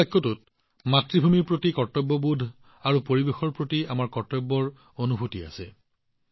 এই বাক্যটোত মাতৃভূমিৰ বাবে কৰ্তব্যবোধো আছে আৰু পৰিৱেশৰ প্ৰতি আমাৰ কৰ্তব্যৰ অনুভূতিও আছে